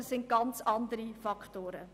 Es sind ganz andere Faktoren.